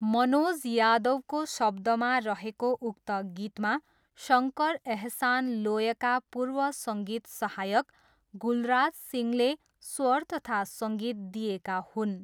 मनोज यादवको शब्दमा रहेको उक्त गीतमा शङ्कर एहसान लोयका पूर्व सङ्गीत सहायक गुलराज सिंहले स्वर तथा सङ्गीत दिएका हुन्।